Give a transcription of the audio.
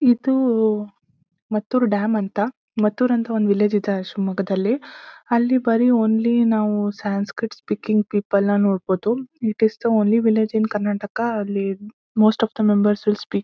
ಇದೂ ಮತ್ತೂರು ಡ್ಯಾಮ್ ಅಂತ ಮತ್ತೂರು ಹತ್ರ ಒಂದ್ ವಿಲೇಜ್ ಇದೆ ಶಿವಮೊಗ್ಗದಲ್ಲಿ ಅಲ್ಲಿ ಓನ್ಲಿ ನಾವು ಸಂಸ್ಕ್ರಿಟ್ ಸ್ಪೀಕಿಂಗ್ ಪೀಪಲ್ ನ ನೋಡಬಹುದು. It is the only village in Karnataka ಅಲ್ಲಿ most of the member will speak --